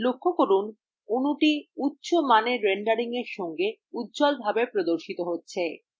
লক্ষ্য করুন যে অণু উচ্চ মানের রেন্ডারিংএর সঙ্গে উজ্জ্বলভাবে প্রদর্শিত হচ্ছে